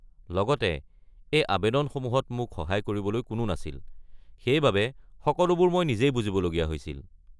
লগতে এই আৱেদনসমূহত মোক সহায় কৰিবলৈ কোনো নাছিল, সেইবাবে সকলোবোৰ মই নিজেই বুজিব লগীয়া হৈছিল।